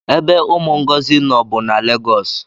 ebe umu Ngozi no bu na Legosi